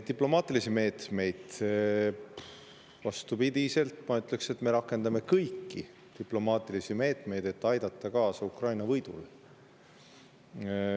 Diplomaatilisi meetmeid, vastupidi, ma ütleksin, me rakendame kõiki, et aidata kaasa Ukraina võidule.